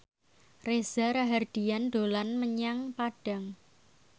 Reza Rahardian dolan menyang Padang